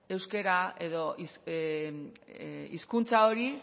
euskera edo hizkuntza hori